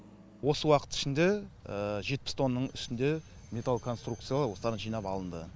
осы уақыт ішінде жетпіс тонның үстінде металконструкциялау осыдан жинап алынды